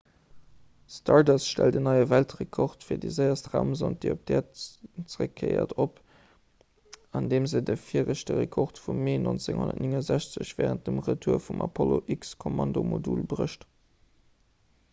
stardust stellt en neie weltrekord fir déi séierst raumsond déi op d'äerd zeréckkéiert op andeem se de viregte rekord vum mee 1969 wärend dem retour vum apollo-x-kommandomodul brécht